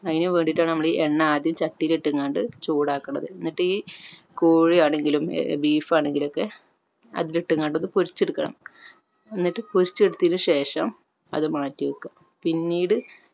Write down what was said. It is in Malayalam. അയിന് വേണ്ടീട്ടാണ് നമ്മൾ ഈ എണ്ണ ആദ്യം ചട്ടിയില് ഇട്ടിങ്ങാണ്ട് ചൂട് ആകണത് എന്നിട്ട് ഈ കോഴി ആണെങ്കിലും ഏർ beef ആണെങ്കിലൊക്കെ അതിലിട്ടുങ്ങാണ്ട് ഒന്ന് പൊരിച്ച് എടുക്കണം എന്നിട്ട് പൊരിച്ച് എടുത്തതിന് ശേഷം അത് മാറ്റി വെക്ക പിന്നീട്